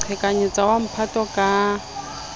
ho qhekanyetsa wa mphato ka